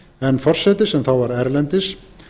en forseti sem þá var erlendis